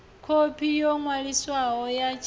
khophi yo ṅwaliswaho ya tshiḽipi